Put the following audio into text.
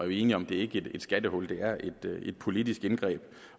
enige om at det ikke er et skattehul det er et et politisk indgreb